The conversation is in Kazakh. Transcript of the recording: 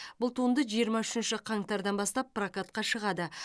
бұл туынды жиырма үшінші қаңтардан бастап прокатқа шығады